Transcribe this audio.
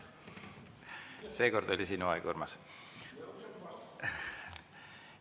Seekord oli sinu aeg, Urmas!